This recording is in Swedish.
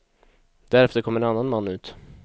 Därefter kom en annan man ut.